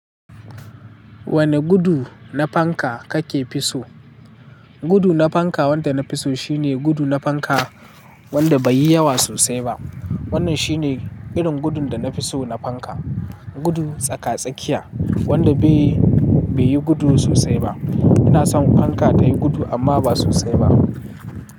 Wane gudu na fanka kake fi so? Gudu na fanka wanda na fi so shine gudu na fanka wanda bai yi yawa sosai ba. Wannan shi ne irin gudun da na fi so na fanka. Gudu tsaka-tsakiya wanda bai yi gudu sosai ba. Ina son fanka ta yi gudu amma ba sosai ba.